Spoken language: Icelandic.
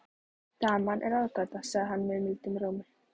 Daman er ráðgáta, sagði hann mildum rómi.